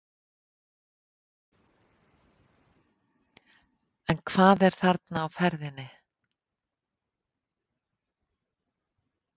En hvað er þarna á ferðinni?